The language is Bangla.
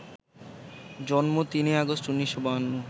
জন্ম ৩ আগস্ট ১৯৫২